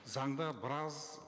заңда біраз